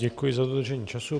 Děkuji za dodržení času.